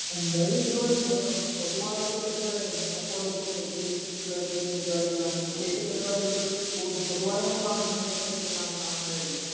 പൊതുവായിട്ടുള്ള പെരുവാടി പ്രതേഗിച്ചിട്ടുള്ള ഒരു പെരുവടീം വിശേഷ പെരുവടികൾ പോലും പൊതുവായി നമ്മൾ കാണുന്ന കേരളത്തിൽ കാണുന്ന അങ്ങനെ ഒള്ളു